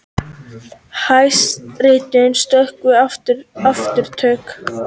Hæstiréttur stöðvar aftöku